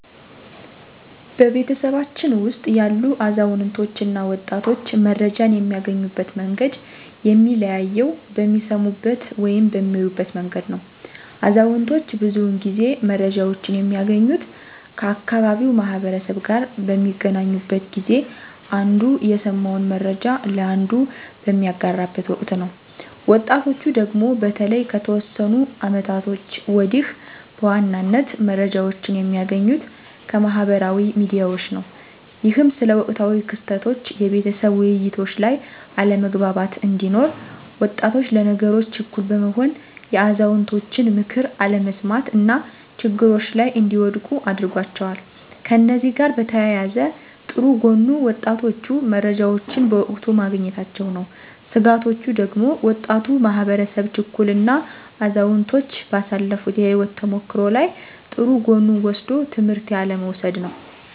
በቤተሰባችን ውስጥ ያሉ አዛውንቶች እና ወጣቶች መረጃን የሚያገኙበት መንገድ የሚለያየው በሚሰሙበት ወይም በሚያዩበት መንገድ ነው። አዛውንቶች ብዙውን ጊዜ መረጃወችን የሚያገኙት ከአካባቢው ማህበረሰብ ጋር በሚገናኙበት ጊዜ አንዱ የሰማውን መረጃ ለአንዱ በሚያጋራበት ወቅት ነው። ወጣቶቹ ደግሞ በተለይ ከተወሰኑ አመታቶች ወዲህ በዋናነት መረጃዎችን የሚያገኙት ከማህበራዊ ሚዲያዎች ነው። ይህም ስለ ወቅታዊ ክስተቶች የቤተሰብ ውይይቶች ላይ አለመግባባት እንዲኖር፤ ወጣቶች ለነገሮች ችኩል በመሆን የአዛውንቶችን ምክር አለመስማት እና ችግሮች ላይ እንዲወድቁ አድርጓቸዋል። ከእነዚህ ጋር በተያያዘ ጥሩ ጎኑ ወጣቶቹ መረጃዎችን በወቅቱ ማግኘታቸው ነው። ስጋቶቹ ደግሞ ወጣቱ ማህበረሰብ ችኩል እና አዛውንቶች ባሳለፋት የህይወት ተሞክሮ ላይ ጥሩ ጎኑን ወስዶ ትምህርት ያለ መውሰድ ነው።